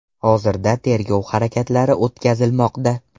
Hozirda tergov harakatlari o‘tkazilmoqda.